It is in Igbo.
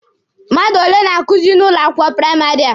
Mmadụ ole na-akuzi n'ụlọ akwụkwọ praịmarị a?